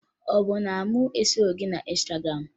Ọ bụ na mụ esoghi gị na Ịnstagram?